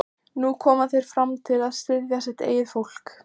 Þór, né heldur guð gróðurs eða friðar.